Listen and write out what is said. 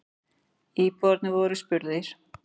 Íbúarnir voru spurðir.